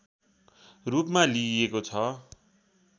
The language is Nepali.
रूपमा लिइएको छ